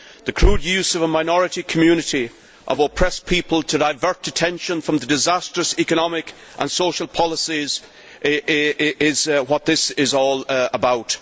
The crude use of a minority community of oppressed people to divert attention from the disastrous economic and social policies is what this is all about.